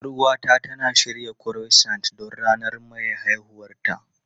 Yar uwata tana shirya Croissant don ranar maye haihuwarta.